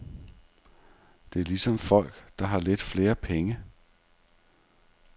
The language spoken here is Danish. Det er ligesom folk, der har lidt flere penge.